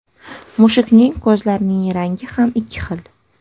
Mushukning ko‘zlarining rangi ham ikki xil.